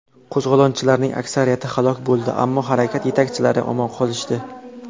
Qo‘zg‘olonchilarning aksariyati halok bo‘ldi, ammo harakat yetakchilari omon qolishdi.